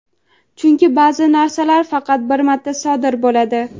chunki baʼzi narsalar faqat bir marta sodir bo‘ladi.